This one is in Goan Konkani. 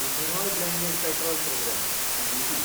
ethanol blended petrol programme (EBP)